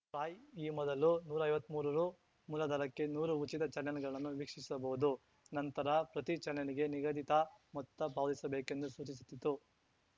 TRAI ಈ ಮೊದಲು ನೂರೈವತ್ಮೂರು ರು ಮೂಲದರಕ್ಕೆ ನೂರು ಉಚಿತ ಚಾನೆಲ್‌ಗಳನ್ನು ವೀಕ್ಷಿಸಬಹುದು ನಂತರ ಪ್ರತಿ ಚಾನೆಲ್‌ಗೆ ನಿಗದಿತ ಮೊತ್ತ ಪಾವತಿಸಬೇಕೆಂದು ಸೂಚಿಸಿತ್ತು